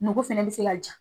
Nogo fɛnɛ be se ka